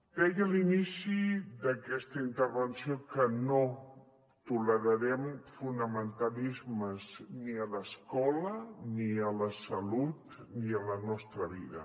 deia a l’inici d’aquesta intervenció que no tolerarem fonamentalismes ni a l’esco·la ni a la salut ni a la nostra vida